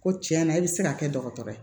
Ko tiɲɛ na e bɛ se ka kɛ dɔgɔtɔrɔ ye